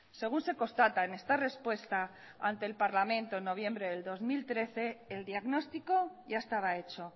según se constata en esta respuesta ante el parlamento en noviembre del dos mil trece el diagnóstico ya estaba hecho